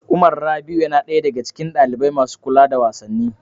Umar Rabi'u yana ɗaya daga cikin ɗalibai masu kula da wasanni.